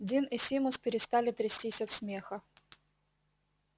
дин и симус перестали трястись от смеха